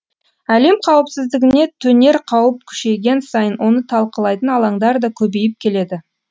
әлем қауіпсіздігіне төнер қауіп күшейген сайын оны талқылайтын алаңдар да көбейіп келеді